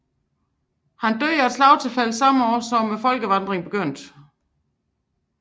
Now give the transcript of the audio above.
Han døde af et slagtilfælde samme år som folkevandringerne begyndte